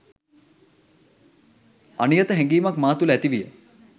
අනියත හැඟීමක් මා තුළ ඇති විය.